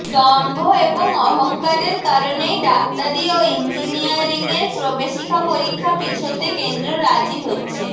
দম্ভ এবং অহঙ্কারের কারণেই ডাক্তারি ও ইঞ্জিনিয়ারিংয়ের প্রবেশিকা পরীক্ষা পিছোতে কেন্দ্র রাজি হচ্ছে